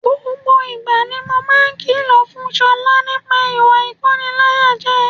Gbogbo ìgbà ni mo máa ń kìlọ̀ fún Ṣọlá nípa ìwà ìkóniláyàjẹ